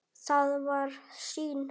Það var sýn.